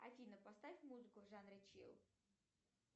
афина поставь музыку в жанре чилл